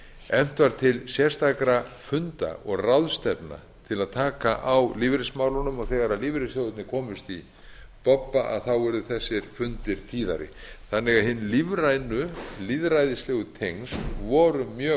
efnt var til sérstakra funda og ráðstefna til að taka á lífeyrismálunum og þegar lífeyrissjóðirnir komust í bobba urðu þessir fundir tíðari þannig að hin lífrænu lýðræðislegu tengsl voru mjög